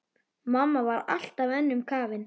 Mamma var alltaf önnum kafin.